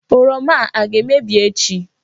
Oroma a aga-emebi echi?